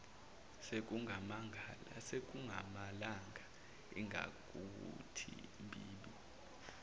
sekungamalanga ingakuthi mbibi